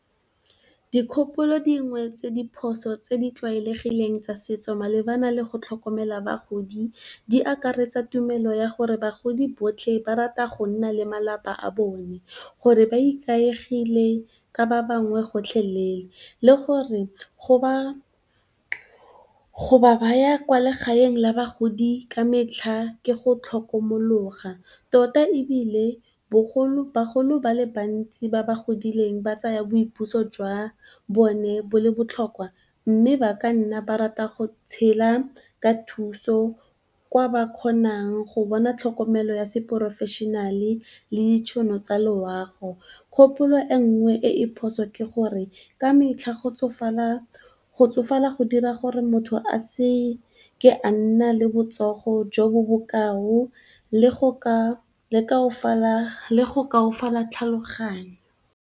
Dikgopolo dingwe tse di phoso tse di tlwaelegileng tsa setso malebana le go tlhokomela bagodi di akaretsa tumelo ya gore bagodi botlhe ba rata go nna le malapa a bone, gore ba ikaegile ka ba bangwe gotlhelele le gore go ba ba baya kwa legaeng la bagodi ka metlha ke go tlhokomologa. Tota ebile, bagolo ba le bantsi ba ba godileng ba tsaya boipuso jwa bone bo le botlhokwa mme ba ka nna ba rata go tshela ka thuso kwa ba kgonang go bona tlhokomelo ya seporofešenale le ditšhono tsa loago. Kgopolo e nngwe e e phoso ke gore ka metlha go tsofala go dira gore motho a se ke a nna le botsogo jo bo bokao le go kaofala tlhaloganyo.